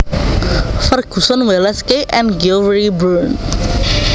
Ferguson Wallace K and Geoffrey Bruun